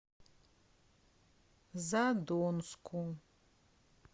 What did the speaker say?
задонску